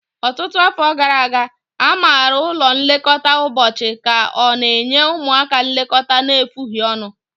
Ọtụtụ afọ gara aga, a maara ụlọ nlekọta ụbọchị ka ọ na-enye ụmụaka nlekọta na-efughi ọnụ.